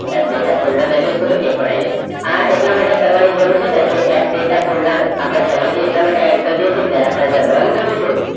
app data folder લઈ લેશો એટલે એ પણ આવી જશે આ એટલા માટે કરવાની જરૂર છે કારણ કે એપ data ફોલ્ડર આપણે પહેલાથી add જ્યારે આપણે રન કરીશું